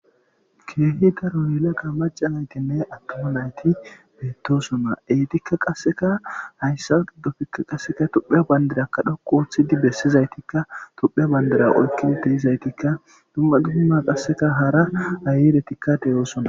keehi daroyela ga macanayti ne attoma nayti beettosona eetikka qasseka hayssa qiddofikka qasseka topheya bandirakka dhoqu ooththidi bessizaytikka tuphea bandira oykkinteyizaytikka dumma dumma qasseka hara ayiretikka deyoosona